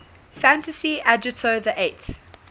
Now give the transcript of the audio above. fantasy agito xiii